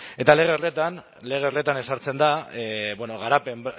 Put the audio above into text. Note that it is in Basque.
eta lege horretan ezartzen da